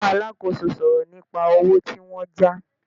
Bá alákòóso sọ̀rọ̀ nípa owó tí wọ́n já